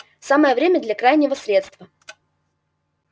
самое время для крайнего средства